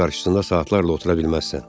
Barın qarşısında saatlarla otura bilməzsən.